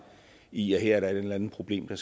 i at her er der et eller andet problem der